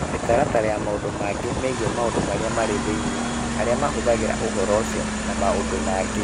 Mĩtaratara na maũndũ mangĩ megiĩ maũndũ marĩa marĩ thĩinĩ, arĩa mahũthagĩra ũhoro ũcio, na maũndũ mangĩ.